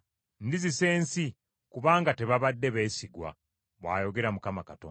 Ndizisa ensi, kubanga tebabadde beesigwa, bw’ayogera Mukama Katonda.”